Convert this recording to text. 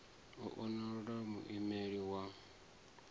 u o elwa muimeleli wa